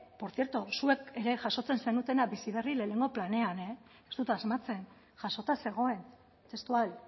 por cierto zuek ere jasotzen zenutena bizi berri batgarren planean ez dut asmatzen jasota zegoen testual